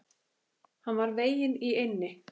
Hann var veginn í eynni.